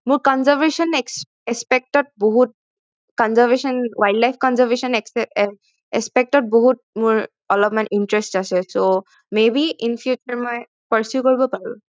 মোৰ conservation aspect aspect ত বহুত conservation wildlife conservation aspect ত বহুত মোৰ অলপমান interest আছে so maybe in future মই persue কৰিব পাৰো